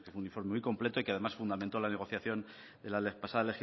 un informe muy completo y que además fundamentó la negociación la pasada